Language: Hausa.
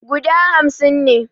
Guda hamsin ne